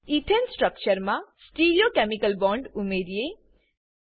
ethane સ્ટ્રક્ચરમાં stereochemical stereochemical bond ઉમેરીએ